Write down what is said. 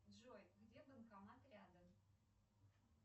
джой где банкомат рядом